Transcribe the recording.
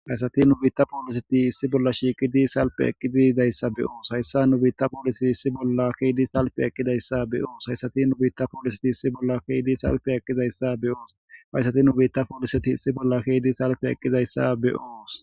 Hayssati nu biitta pooliseti issi bolla shiiqi dii salpe eqqizizayssa be'oos hayssa nu biitta poolisiti issi bolla keydi salpe eqqidayssa beyoos hayssati nubiitta pooliseti issi bolla keyidii salpe eqqizayssa beyoos fayssati nubiitta pooliseti issi bolla keydi salfe eqqizayssa be'oos.